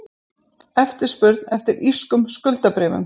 Eftirspurn eftir írskum skuldabréfum